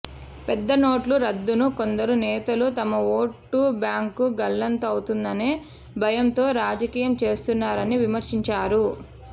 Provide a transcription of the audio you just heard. పెద్దనోట్ల రద్దును కొందరు నేతలు తమ ఓటు బ్యాంకు గల్లంతవుతుందనే భయంతో రాజకీయం చేస్తున్నారని విమర్శించారు